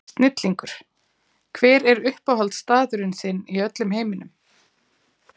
Snillingur Hver er uppáhaldsstaðurinn þinn í öllum heiminum?